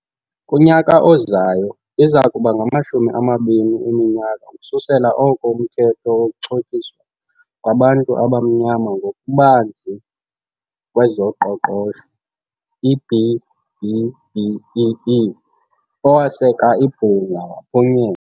Kunyaka ozayo, iza kuba ngamashumi amabini eminyaka ukususela oko uMthetho wokuXhotyiswa kwabantu abaMnyama ngokuBanzi kwezoQoqosho, i-B-BBEE, - owaseka ibhunga - waphunye.